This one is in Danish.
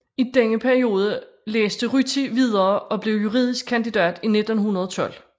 I denne periode læste Ryti videre og blev juridisk kandidat i 1912